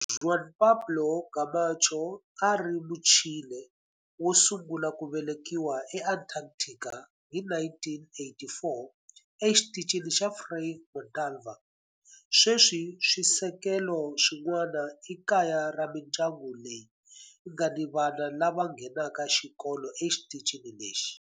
Juan Pablo Camacho a a ri Muchile wo sungula ku velekiwa eAntarctica hi 1984 eXitichini xa Frei Montalva. Sweswi swisekelo swin'wana i kaya ra mindyangu leyi nga ni vana lava nghenaka xikolo exitichini lexi.